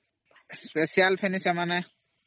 ସେମାନଙ୍କର ଲାଗି special